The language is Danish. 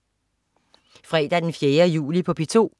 Fredag den 4. juli - P2: